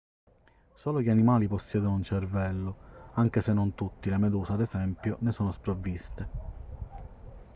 solo gli animali possiedono un cervello anche se non tutti: le meduse ad esempio ne sono sprovviste